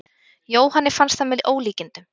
Jóhanni fannst það með ólíkindum.